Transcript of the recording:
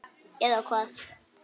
Eða hvað?